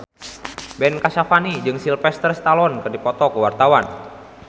Ben Kasyafani jeung Sylvester Stallone keur dipoto ku wartawan